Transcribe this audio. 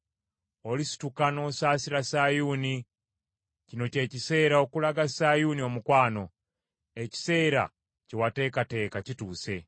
Olisituka n’osaasira Sayuuni, kino kye kiseera okulaga Sayuuni omukwano; ekiseera kye wateekateeka kituuse.